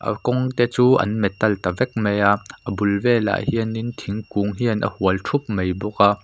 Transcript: kalkawng te chu an metal ta vek mai a a bul velah hian in thingkung velah hian a hual thup mai bawk a--